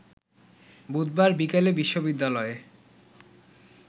বুধবার বিকেলে বিশ্ববিদ্যালয়ে